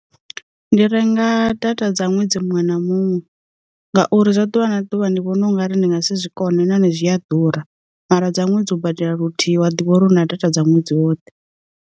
Ndi renga data dza ṅwedzi muṅwe na muṅwe ngauri zwa ḓuvha na ḓuvha ndi vhona u ngari ndi nga si zwikona heinoni zwi a ḓura mara dza ṅwedzi u badela luthihi wa ḓivha uri u na data dza ṅwedzi woṱhe.